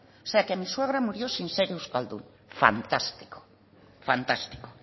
o sea que mi suegra murió sin ser euskaldun fantástico